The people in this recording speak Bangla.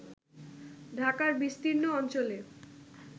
ঢাকার বিস্তীর্ণ অঞ্চলে